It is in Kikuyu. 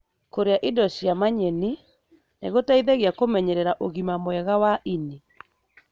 Kũria indo cĩina manyeni nĩgũteithagia kũmenyerera ũgima mwega wa ini.